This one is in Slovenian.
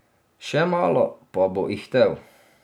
Še malo, pa bo ihtel.